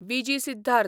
V G Siddharth